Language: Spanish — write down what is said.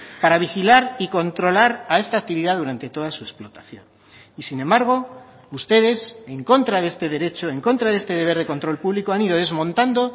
para vigilar y controlar a esta actividad durante toda su explotación y sin embargo ustedes en contra de este derecho en contra de este deber de control público han ido desmontando